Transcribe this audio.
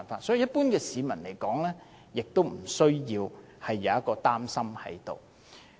所以，一般市民不需要有這方面的擔心。